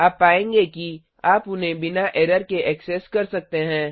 आप पाएँगे कि आप उन्हें बिना एरर के ऐक्सेस कर सकते हैं